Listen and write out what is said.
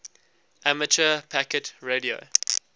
amateur packet radio